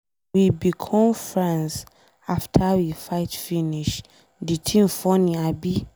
We become friends after we fight finish. The thing funny abi.